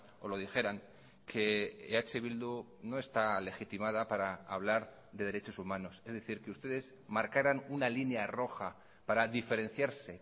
o lo dijeran que eh bildu no está legitimada para hablar de derechos humanos es decir que ustedes marcaran una línea roja para diferenciarse